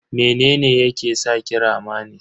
Mene ne yake saki rama ne?